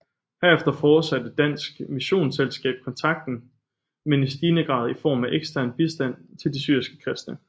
Herefter fortsatte Dansk Missionsselskab kontakten men i stigende grad i form af ekstern bistand til de syriske kristne